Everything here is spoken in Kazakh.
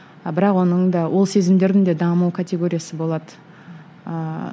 а бірақ оның да ол сезімдердің де даму категориясы болады ыыы